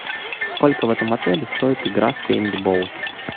сколько в этом отеле стоит игра в пейнтбол